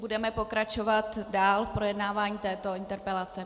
Budeme pokračovat dál v projednávání této interpelace.